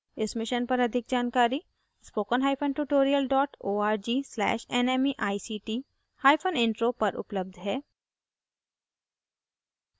इस मिशन पर अधिक जानकारी